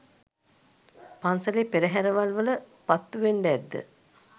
පන්සලේ පෙරහැරවල් වල පත්තුවෙන්ඩ ඇද්ද?